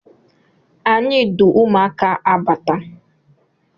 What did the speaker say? Anyi du ụmụaka abata